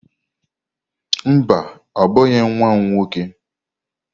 Mba, ọ bụghị nwa m nwoke.